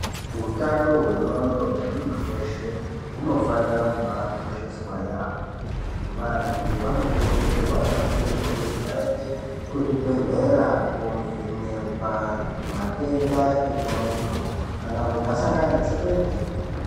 Utano wendxondo wemuntu weshe hunofanira kubaakosheswa yaamho, vantu vanokurudzirwa kakurutu kuti vaende kuzvibhedhlera kovhonekwa matenda endxondo kana munhu asangana netsekwende.